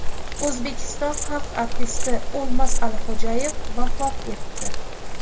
O‘zbekiston xalq artisti O‘lmas Alixo‘jayev vafot etdi.